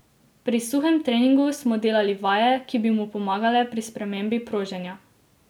Pri suhem treningu smo delali vaje, ki bi mu pomagale pri spremembi proženja.